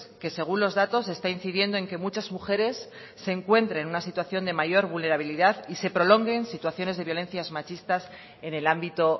que según los datos está incidiendo en que muchas mujeres se encuentren en una situación de mayor vulnerabilidad y se prolonguen situaciones de violencias machistas en el ámbito